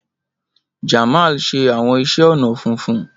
Jamal ṣe awọn iṣẹ ọnà funfun.